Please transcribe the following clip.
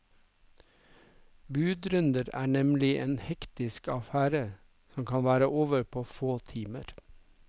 Budrunder er nemlig en hektisk affære som kan være over på få timer.